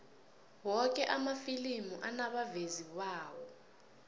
woke amafilimi anabavezi bawo